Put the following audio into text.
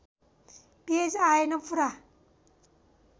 page आएन पुरा